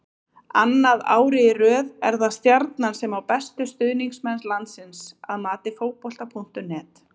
Annað árið í röð er það Stjarnan sem á bestu stuðningsmenn landsins að mati Fótbolta.net.